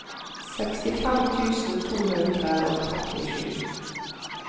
sekstifem tusen to hundre og trettisju